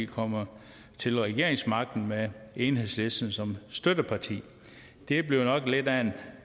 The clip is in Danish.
kommer til regeringsmagten med enhedslisten som støtteparti det bliver nok lidt af en